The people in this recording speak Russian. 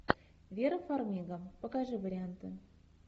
вера фармига покажи варианты